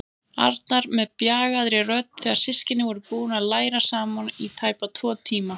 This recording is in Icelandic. Arnar með bjagaðri rödd þegar systkinin voru búin að læra saman í tæpa tvo tíma.